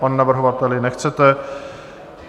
Pane navrhovateli, nechcete.